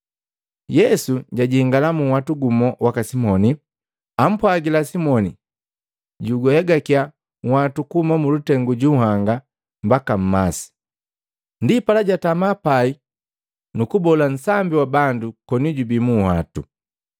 Yesu jajingala munhwatu gumu waka Simoni, ampwagila Simoni juhegakya nhwatu kuhuma mulutengu ju nhanga mbaka mmasi. Ndipala jatama pai nukugubola nsambi wa bandu koni jubi munhwatu.